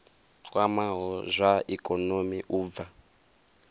kwamaho zwa ikonomi u bva